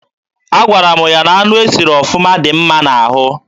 Agwara m ya na anụ e siri ọfụma dị mma n'ahụ.